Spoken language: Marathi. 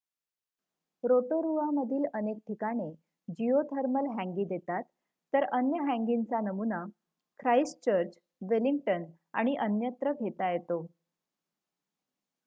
रोटोरुआमधील अनेक ठिकाणे जिओथर्मल हँगी देतात तर अन्य हँगींचा नमुना ख्राईस्टचर्च वेलिंग्टन आणि अन्यत्र घेता येतो